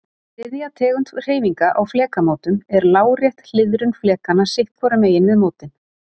Þriðja tegund hreyfinga á flekamótum er lárétt hliðrun flekanna sitt hvorum megin við mótin.